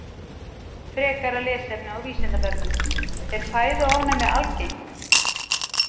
Frekara lesefni á Vísindavefnum: Er fæðuofnæmi algengt?